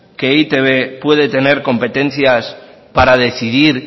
que e i te be puede tener competencias para decidir